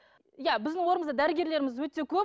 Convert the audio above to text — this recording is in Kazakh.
ия біздің дәрігерлеріміз өте көп